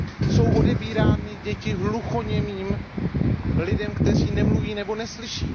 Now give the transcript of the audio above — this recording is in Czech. Jsou odebírány děti hluchoněmým, lidem, kteří nemluví nebo neslyší.